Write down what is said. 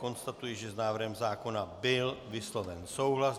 Konstatuji, že s návrhem zákona byl vysloven souhlas.